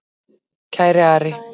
Kæri Ari.